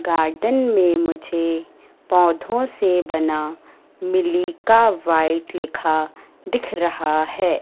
Garden में मुझे पौधों से बना मिलीका व्हाइट लिखा दिख रहा है।